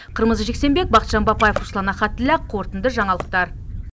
қырмызы жексенбек бақытжан бапаев руслан ахатілла қорытынды жаңалықтар